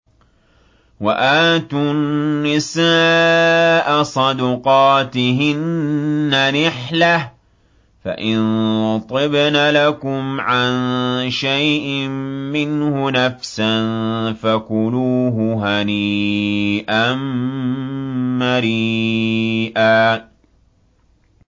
وَآتُوا النِّسَاءَ صَدُقَاتِهِنَّ نِحْلَةً ۚ فَإِن طِبْنَ لَكُمْ عَن شَيْءٍ مِّنْهُ نَفْسًا فَكُلُوهُ هَنِيئًا مَّرِيئًا